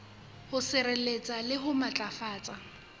ho sireletsa le ho matlafatsa